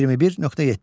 21.7.